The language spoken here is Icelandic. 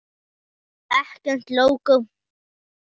Ekkert lógó.